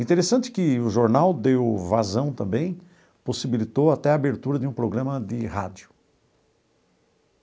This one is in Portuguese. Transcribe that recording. Interessante que o jornal deu vazão também, possibilitou até a abertura de um programa de rádio.